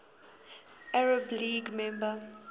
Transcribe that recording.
arab league member